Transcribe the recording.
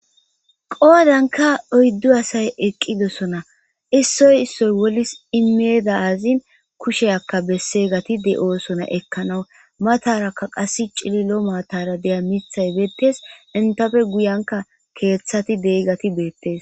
Qoodanka oyddu asay eqqidosona issoy issoy wolis imeeda azin kushe akka besse gati de oosona ekkanawu matarakka qas cililo maatara deya mithay beettes intafe guyanka keeththati deyigati beettes.